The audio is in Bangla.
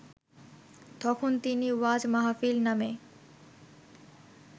তখন তিনি ওয়াজ মাহফিল নামে